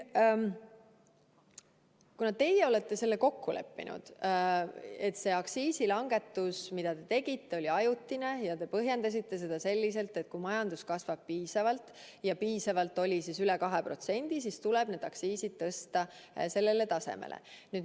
Kuna teie leppisite kokku, et see aktsiisilangetus, mis te tegite, oli ajutine, ja te põhjendasite seda sellega, et kui majandus kasvab piisavalt, ja piisavalt oli üle 2%, siis tuleb need aktsiisid tõsta endisele tasemele.